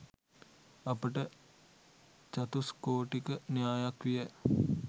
අපට චතුස්කෝටික න්‍යායක් විය